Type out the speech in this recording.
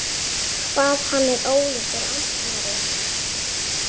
Hvað hann er ólíkur Arnari!